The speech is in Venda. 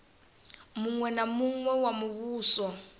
muṅwe na muṅwe wa muvhuso